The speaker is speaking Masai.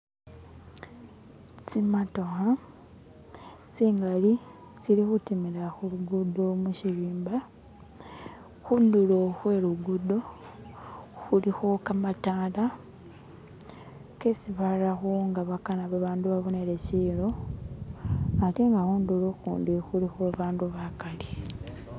Tsimatokha tsingali tsili khutimila khulugudo mushirimba, kundulo khwe lugudo khulikho kamatala kesi barakho nga bakana babandu babonele silo ate nga khundulo ukhundi khulikho babandu bakali